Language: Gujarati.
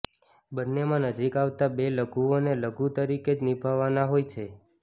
બંનેમાં નજીક આવતા બે લઘુઓને લઘુ તરીકે જ નિભાવવાના હોય છે